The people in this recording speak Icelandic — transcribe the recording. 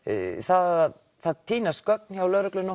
að það týnast gögn hjá lögreglunni á